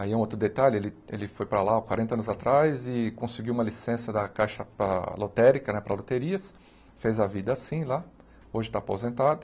Aí um outro detalhe, ele ele foi para lá há quarenta anos atrás e conseguiu uma licença da Caixa para Lotérica né, para loterias, fez a vida assim lá, hoje está aposentado.